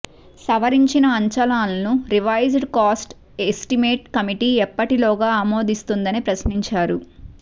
సవరించిన అంచనాలను revised cost estimate committee ఎప్పటిలోగా అమోదిస్తుందని ప్రశ్నించారు